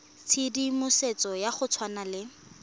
tshedimosetso ya go tshwana le